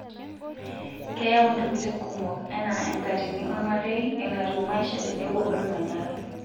Keyau ntokitin kumok enaa enkatini olmarei, enatiu maisha tenebo olmanyara.